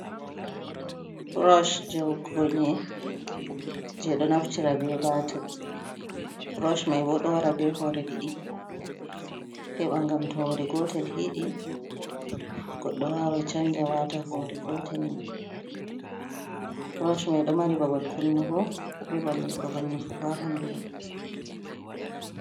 Burosh woggugo nyii'e, jey ɗo naftira bee Baatir, Burosh mai boo ɗo wara bee hoore ɗiɗi heɓa ngam to hoore gootel hiiɗii goɗɗo waawai canja waata hoore gootel, Burosh mai ɗo mari babal kunnugo bee babal nyifugo haa ɓanndu mai.